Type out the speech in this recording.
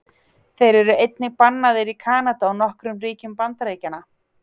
Þeir eru einnig bannaðir í Kanada og nokkrum ríkjum Bandaríkjanna.